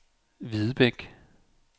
Hvidebæk